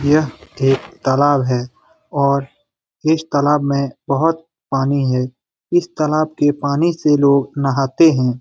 यह एक तालाब है और इस तालाब में बहुत पानी है इस तालाब के पानी से लोग नहाते हैं ।